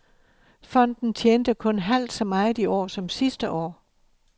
Fonden tjente kun halvt så meget i år som sidste år.